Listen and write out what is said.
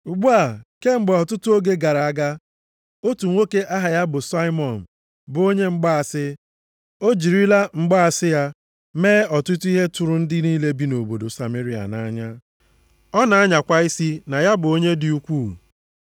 Ugbu a, kemgbe ọtụtụ oge gara aga, otu nwoke aha ya bụ Saimọn bụ onye mgbaasị. O jirila mgbaasị ya mee ọtụtụ ihe tụrụ ndị niile bi nʼobodo Sameria nʼanya. Ọ na-anyakwa isi na ya bụ onye dị ukwu.